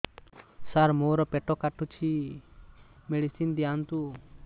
ସାର ମୋର ପେଟ କାଟୁଚି ମେଡିସିନ ଦିଆଉନ୍ତୁ